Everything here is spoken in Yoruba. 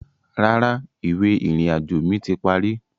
Rárá, ìwé ìrìnàjò mi ti parí